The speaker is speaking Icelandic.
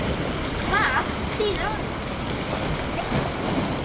Hvað þýðir orðið fisjað?